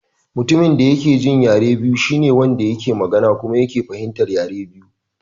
Mutumin da ya ke jin yare biyu shine Wanda yake magana kuma yake fahimtar yare biyu.